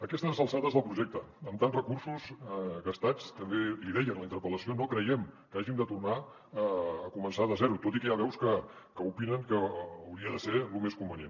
a aquestes alçades del projecte amb tants recursos gastats també l’hi deia en la interpel·lació no creiem que hàgim de tornar a començar de zero tot i que hi ha veus que opinen que hauria de ser lo més convenient